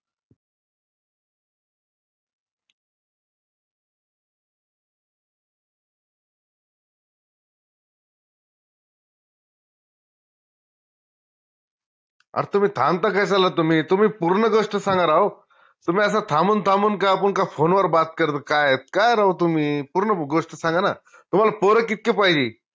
अ तुम्ही थांबता कश्याला तुम्ही तुम्ही पूर्ण गोष्ट सांगा राव तुम्ही अस थांबून थांबून का आपुन का phone वर बात कर काय काय राव तुम्ही पूर्ण गोष्ट सांगा ना तुम्हाल पोर कितके पाहिजे?